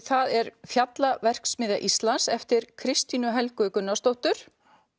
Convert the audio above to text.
það er Íslands eftir Kristínu Helgu Gunnarsdóttur